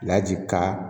ka